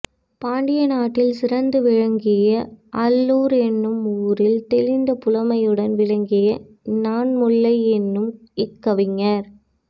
பாண்டிய நாட்டில் சிறந்து விளங்கிய அள்ளூர் எனும் ஊரில் தெளிந்த புலமையுடன் விளங்கிய நன்முல்லை எனும் இக்கவிஞர்